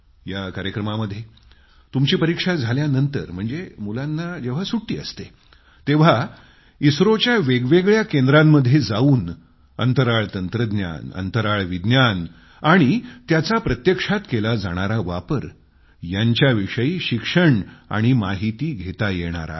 या कार्यक्रमामध्ये तुमची परीक्षा झाल्यानंतर म्हणजे मुलांना सुट्टी असते तेव्हा इस्रोच्या वेगवेगळ्या केंद्रांमध्ये जावून अंतराळ तंत्रज्ञान अंतराळ विज्ञान आणि त्याचा प्रत्यक्षात केला जाणारा वापर यांच्याविषयी शिक्षण माहिती घेता येणार आहे